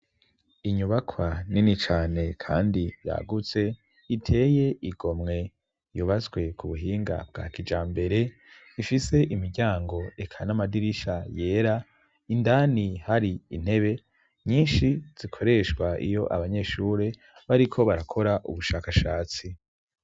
Inyubakwa nini cane kandi yagutse iteye igomwe; yubaswe ku buhinga bwa kijambere ifise imiryango eka n'amadirisha yera, indani hari intebe nyinshi zikoreshwa iyo abanyeshuri bariko barakora ubushakashatsi.